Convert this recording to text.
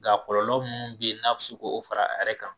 Nka kɔlɔlɔ munnu be yen, n'a bi se k'o fara a yɛrɛ kan